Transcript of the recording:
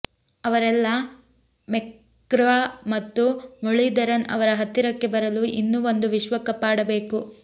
ಅವರೆಲ್ಲಾ ಮೆಕ್ಗ್ರಾ ಮತ್ತು ಮುರಳೀಧರನ್ ಅವರ ಹತ್ತಿರಕ್ಕೆ ಬರಲು ಇನ್ನೂ ಒಂದು ವಿಶ್ವಕಪ್ ಆಡಬೇಕು